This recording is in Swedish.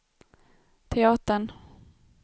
teatern